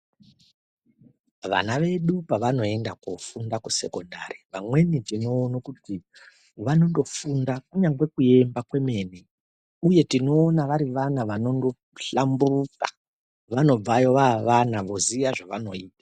Vana vedu pevanoenda kofunda kusekondari, pamweni tinoone kuti vanondofunde kuyemba kwemene, uye tinoona vari vana vanondohlamburuka, vanobvayo vavana voziya zvavanoita.